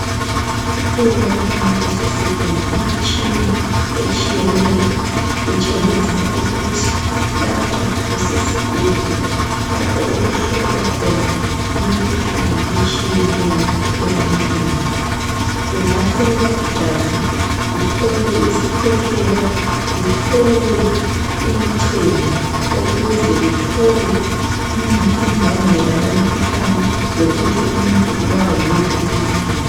Kulemitshina etshiyatshiyeneyo kutshengisa ukuthi lapha kusesibhedlela lapho okuhlolwa khona imitshina etshiyatshiyeneyo ebantwini. Kungahlolwa igazi, kuhlolwe isikhwehlela kuhlolwe umchemo ukuze bethole imbangela yomkhuhlane lokuthi umuntu ubulawa yiwuphi umkhuhlane.